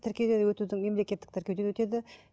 тіркеуден өтудің мемлекеттік тіркеуден өтеді